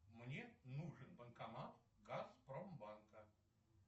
мне нужен банкомат газпромбанка